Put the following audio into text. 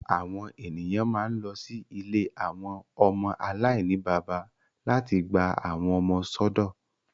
Awọn eniyan ma n lọ si ìlé awọn ọmọ alainibaba lati gba awọn ọmọ sọdọ